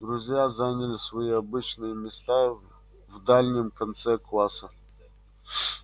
друзья заняли свои обычные места в дальнем конце класса